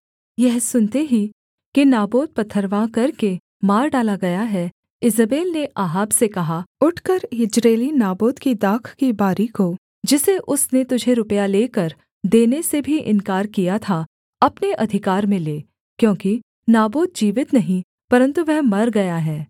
यह सुनते ही कि नाबोत पथरवाह करके मार डाला गया है ईजेबेल ने अहाब से कहा उठकर यिज्रेली नाबोत की दाख की बारी को जिसे उसने तुझे रुपया लेकर देने से भी इन्कार किया था अपने अधिकार में ले क्योंकि नाबोत जीवित नहीं परन्तु वह मर गया है